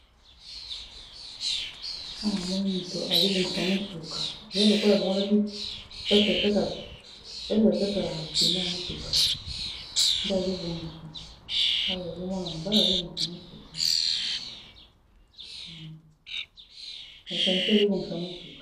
Awa namoni moto azobongisa mutuka eza lokola alongolaki place batiaka pneu ya motuka nde azo bongisa, Awa ezali mwana mobali nde azo bongisa motuka mécanicien azobongisa motuka.